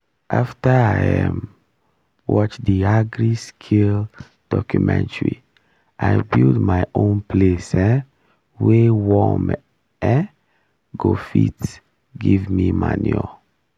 after i um watch the agri-skill documentary i build my own place um wey worm um go fit give me manure